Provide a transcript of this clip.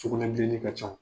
sukunɛbilennin ka ca